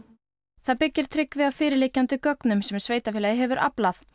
það byggir Tryggvi á fyrirliggjandi gögnum sem sveitarfélagið hefur aflað